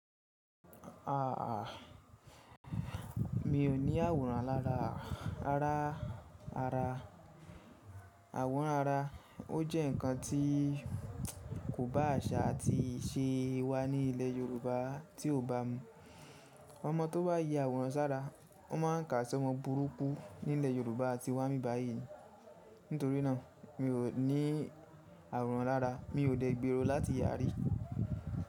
Mi ò ní àwòrán lára ara ara. Àwòrán ara, ó jẹ́ ǹkan tí kò bá àṣà àti ìṣe wa ní ilẹ̀ Yorùbá tí ò bá mu. Ọmọ tó bá ya àwòrán sára, wọ́n máa ń kà á sí ọmọ burúkú nílẹ̀ Yorùbá ti wa ibi báyìí ni. Nítorí náà mi ò ní àwòrán lára. Mi ò dé gbèrò láti ya rí.